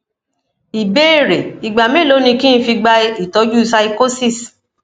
ìbéèrè igba melo ni ki n fi gba itoju pyschosis